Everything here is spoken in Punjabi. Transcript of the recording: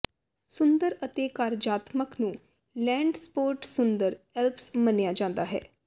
ਸੁੰਦਰ ਅਤੇ ਕਾਰਜਾਤਮਕ ਨੂੰ ਲੈਂਡਸਪੌਰਡ ਸੁੰਦਰ ਐਲਪਸ ਮੰਨਿਆ ਜਾਂਦਾ ਹੈ